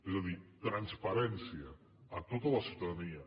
és a dir transparència a tota la ciutadania